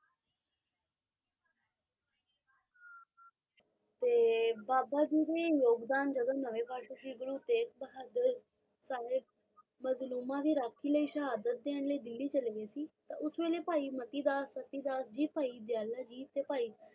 ਤੇ ਬਾਬਾ ਜੀ ਦੀ ਯੋਗਦਾਨ ਜਦੋ ਨਾਵਾਂ ਵਾਸੁ ਜੀ ਗੁਰੂ ਤੇਜ਼ ਬਹਾਦਰ ਸਾਹਿਬ ਮਜ਼ਲੂਮ ਦੀ ਰਾਖੀ ਲਈ ਸ਼ਹਾਦਤ ਦੇਣ ਲਈ ਦਿੱਲੀ ਚਲੇ ਗਏ ਸੀ ਤੇ ਉਸ ਵੈਲੀ ਭਾਈ ਮਾਟੀ ਦਾਸ ਪਤੀ ਦਾਸ ਜੀ ਭਾਈ